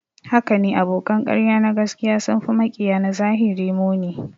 Hakane, abokan ƙarya na gaskiya sun fi maƙiya na zahiri muni